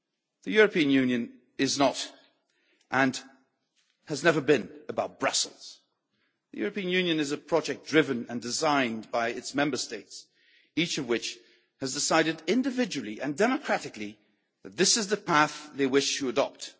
The European Union is not, and has never been, about Brussels the European Union is a project driven and designed by its Member States, each of which has decided individually and democratically that this is the path they wish to adopt.